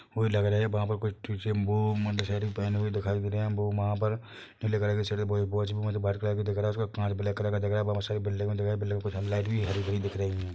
वो लग रहा है वहाँ पर कोई पहने हुए दिखाई दे रहे है वो वहाँ पर नीले कलर वाइट कलर का दिख रहा है उसका कांच ब्लैक कलर का दिख रहा है वहाँ बहोत सारी बिल्डिंगें कुछ लाइट भी हरी-भरी दिख रही है।